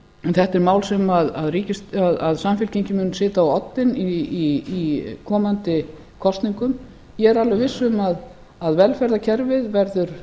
þetta er mál sem samfylkingin mun setja á oddinn í komandi kosningum ég er alveg viss um að velferðarkerfið verður